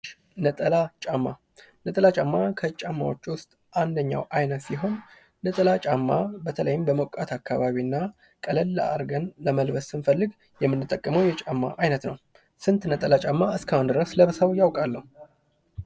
ነጠላ ጫማ ነጠላ ጫማ ከጫማዎች ዉስጥ አንደኛው አይነት ሲሆን፤ ነጠላ ጫማ በተለይም በሞቃት አካባቢ እና ቀለል አርገን ለመልበስ ስንፈልግ የምንጠቀመው የጫማ አይነት ነው። ስንት ነጠላ ጫማ እስካሁን ድረስ ለብሰው ያውቃሉ?